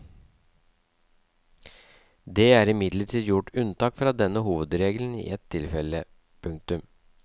Det er imidlertid gjort unntak fra denne hovedregelen i et tilfelle. punktum